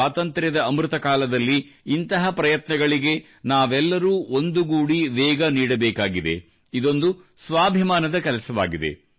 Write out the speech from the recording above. ಸ್ವಾತಂತ್ರ್ಯದ ಅಮೃತ ಕಾಲದಲ್ಲಿ ಇಂತಹ ಪ್ರಯತ್ನಗಳಿಗೆ ನಾವೆಲ್ಲರೂ ಒಂದುಗೂಡಿ ವೇಗ ನೀಡಬೇಕಾಗಿದೆ ಇದೊಂದು ಸ್ವಾಭಿಮಾನದಕೆಲಸವಾಗಿದೆ